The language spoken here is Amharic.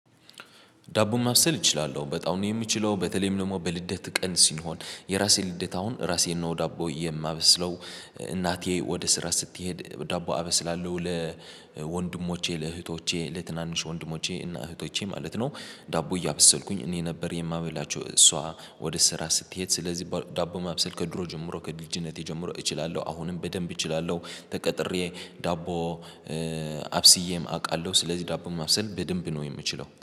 ዳቦም ማብሰል እችላለሁ በጣም ነው የምችለው በተለይም ደግሞ በልደት ቀን ሲሆን የራሴ ልደት አሁን ራሴ ነው ዳቦ የማበስለው። እናቴ ወደ ስራ ስትሄድ ዳቦ አበስላለሁ ለወንድሞቼ ለእህቶቼ ለትናንሽ ወንድሞቼ እና እህቶቼ ማለት ነው። ዳቦ እያበሰልኩኝ እኔ ነበር የማበላቸው እሷ። ወደ ስራ ስትሄድ ስለዚህ ዳቦ ማብሰል ከድሮ ጀምሮ ከልጅነቴ ጀምሮ እችላለሁ አሁንም በደንብ እችላለሁ። ተቀጥሬ ዳቦ አብስዬም አውቃለሁ። ስለዚህ ዳቦም ማብሰል በደንብ ነው የምችለው